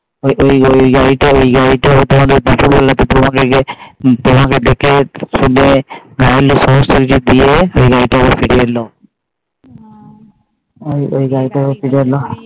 ওই গাড়িটা তোমাকে দেখে শুনে সব কিছু দিয়ে ওই গাড়িটা আবার ফিরে এলো ওই গাড়িটা আবার ফিরে এলো